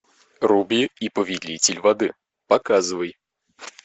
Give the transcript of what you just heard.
руби и повелитель воды показывай